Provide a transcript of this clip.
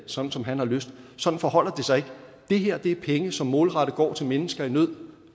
som som han har lyst sådan forholder det sig ikke det her er penge som målrettet går til mennesker i nød